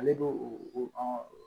Ale b'o o